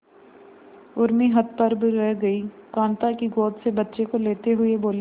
उर्मी हतप्रभ रह गई कांता की गोद से बच्चे को लेते हुए बोली